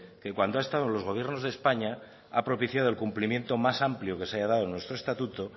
que cuando ha estado en los gobiernos de españa ha propiciado el cumplimiento más amplio que se haya dado en nuestro estatuto